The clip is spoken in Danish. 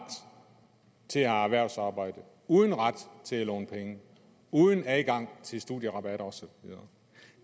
til at have erhvervsarbejde uden ret til at låne penge uden adgang til studierabat og så videre